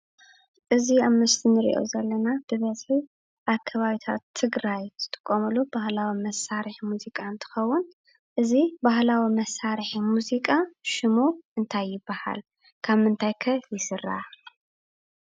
እዚ ኣብ ምስሊ እንሪኦ ዘለና ኣብ ከባብታት ትግራይ ዝጥቀሙሉ ባህላዊ መሳርሒ ሙዚቃ እንትኸውን እዚ ባህላዊ መሳርሒ ሙዚቃ ሽሙ እንታይ ይበሃል? ካብ ምንታይ ከ ይስራሕ?